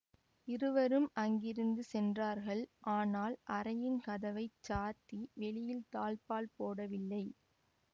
இருவரும் அங்கிருந்து சென்றார்கள் ஆனால் அறையின் கதவை சாத்தி வெளியில் தாள்பால் போடவில்லை